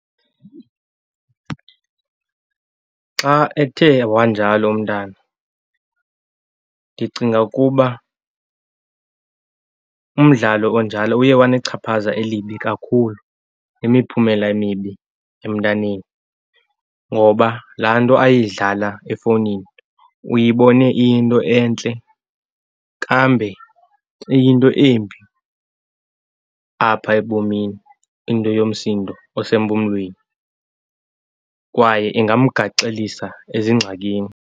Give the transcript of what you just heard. Xa ethe wanjalo umntana ndicinga ukuba umdlalo onjalo uye wanechaphaza elibi kakhulu, imiphumela emibi emntaneni. Ngoba laa nto ayidlala efowunini uyibone iyinto entle kambe iyinto embi apha ebomini into yomsindo osempumlweni kwaye ingamgaxelisa ezingxakini.